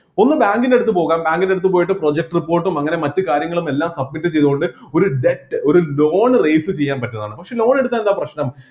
ഒന്നു bank ൻ്റെ അടുത്ത് പോകാം bank ൻ്റെ അടുത്ത് പോയിട്ട് project report ഉം അങ്ങനെ മറ്റു കാര്യങ്ങളുമെല്ലാം submit ചെയ്‌തുകൊണ്ട്‌ ഒരു debt ഒരു loan raise ചെയ്യാൻ പറ്റുന്നതാണ് പക്ഷെ loan എടുത്താൽ എന്താ പ്രശ്‌നം